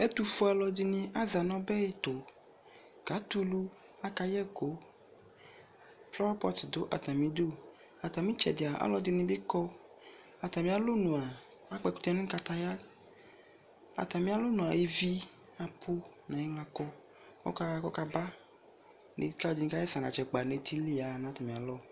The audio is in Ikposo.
Ɛtofue alɔde ne aza no ɔbɛ ɛtɛ kaatɛ alu Aka yɛku Flawa pɔt do atame du Atame tsɛde alɔde ne be kɔAtame alɔnua akpɔ ɛkutɛ no kataya Atame alɔnua ivi apu ne ayela kɔ ko ɔla ko aka ba Deka de ne kasɛsɛ anatsɛ akpa ne ti li yaha na atane alɔ